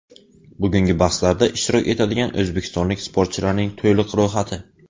Bugungi bahslarda ishtirok etadigan o‘zbekistonlik sportchilarning to‘liq ro‘yxati.